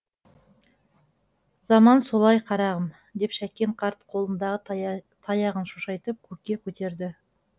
заман солай қарағым деп шәкен қарт қолындағы таяғын шошайтып көкке көтерді